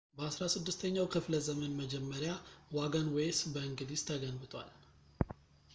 በ 16 ኛው ክፍለዘመን መጀመሪያ ዋገንዌይስ በእንግሊዝ ተገንብቷል